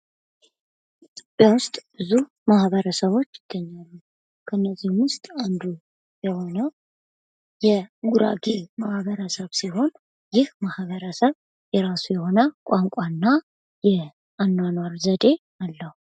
በደቡብ ውስጥ ዙር ማህበረሰቦች ይገኛሉ። ከነዚህም ውስጥ አንዱ የሆነው የጉራጌ ማህበረሰብ ሲሆን፤ ይህ ማህበረሰብ የራሱ የሆነ ቋንቋና የአኗኗር ዘዴ አለው።